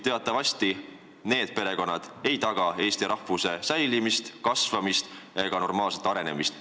Teatavasti need perekonnad ei taga Eesti rahvuse säilimist, kasvamist ega normaalset arenemist.